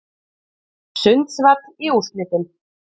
Sundsvall í úrslitin